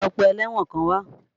Lọ pe ẹlẹ́wọ̀n kan wá!